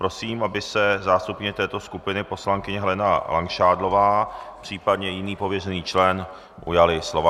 Prosím, aby se zástupkyně této skupiny poslankyně Helena Langšádlová, případně jiný pověřený člen, ujali slova.